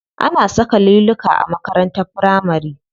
Ana saka liluka a makarantar firamari.